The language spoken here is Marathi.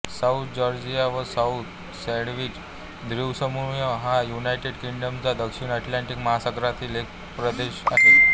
साउथ जॉर्जिया व साउथ सँडविच द्वीपसमूह हा युनायटेड किंग्डमचा दक्षिण अटलांटिक महासागरातील एक प्रदेश आहे